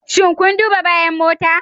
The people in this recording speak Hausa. Shin kun duba bayan motan?